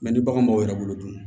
ni bagan m'aw yɛrɛ bolo dun